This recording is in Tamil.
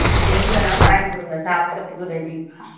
எது வேணாலும் வாங்கி கொடுங்க சாப்பிடறதுக்கு ready